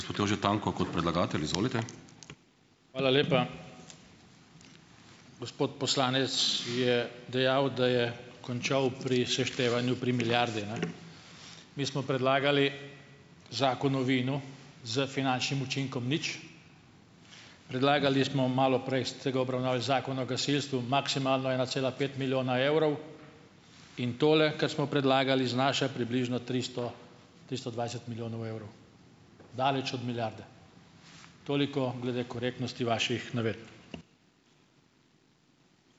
Hvala lepa. Gospod poslanec je dejal, da je končal pri seštevanju pri milijardi, ne. Mi smo predlagali zakon o vinu s finančnim učinkom nič, predlagali smo, malo prej ste ga obravnavali, zakon o gasilstvu, maksimalno ena cela pet milijona evrov, in tole, kar smo predlagali, znaša približno tristo, tristo dvajset milijonov evrov. Daleč od milijarde. Toliko glede korektnosti vaših navedb.